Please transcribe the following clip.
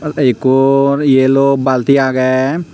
ei ikkor yellow balti agey.